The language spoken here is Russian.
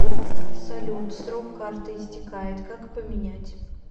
салют срок карты истекает как поменять